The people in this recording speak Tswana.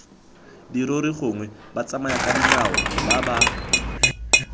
dirori gongwe batsamayakadinao ba ba